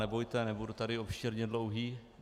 Nebojte, nebudu tady obšírně dlouhý.